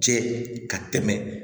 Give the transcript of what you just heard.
Cɛ ka tɛmɛ